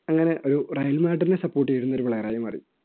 അങ്ങനെ ഒരു റയൽമേഡ്രിനെ support ചെയ്യുന്ന player ആയി മാറി